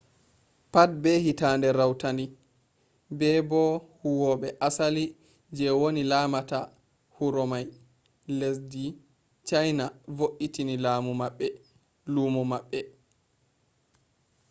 pat be hitande rautandi be bo huwwoɓe asali je woni lamata huromai lesɗi china voitini lumo maɓɓe